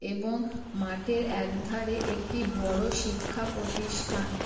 এবং মাঠের একধারে একটি বড় শিক্ষা প্রতিষ্ঠান ।